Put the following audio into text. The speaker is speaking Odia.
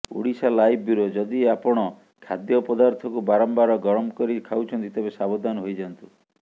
ଓଡ଼ିଶାଲାଇଭ୍ ବ୍ୟୁରୋ ଯଦି ଆପଣ ଖାଦ୍ୟପଦାର୍ଥକୁ ବାରମ୍ବାର ଗରମ କରି ଖାଉଛନ୍ତି ତେବେ ସାବଧାନ ହୋଇଯାନ୍ତୁ